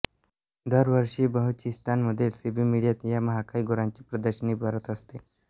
दरवर्षी बलुचिस्तान मधील सिबी मेळ्यात या महाकाय गुरांची प्रदर्शनी भरत असते